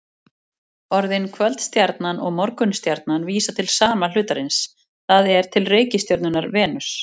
Orðin kvöldstjarnan og morgunstjarnan vísa til sama hlutarins, það er til reikistjörnunnar Venus.